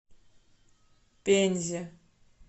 пензе